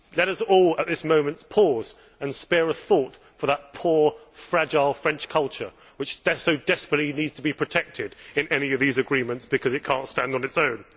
Let us all at this moment pause and spare a thought for that poor, fragile French culture, which so desperately needs to be protected in any of these agreements because it cannot stand on its own.